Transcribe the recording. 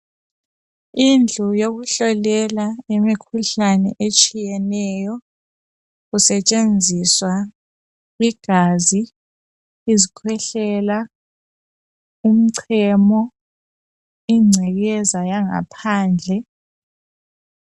Indlu yokuhlolela imikhuhlane etshiyeneyo kusetshenziswa igazi, izikhwehlela umchemo, ingcekeza yangaphandle.